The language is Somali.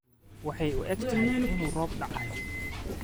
waxey uu egtahy inu roob dacayo